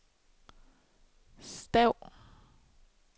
stav